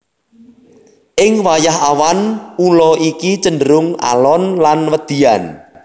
Ing wayah awan ula iki cenderung alon lan wedian